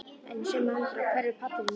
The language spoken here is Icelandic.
En í sömu andrá hverfur pallurinn í reyk.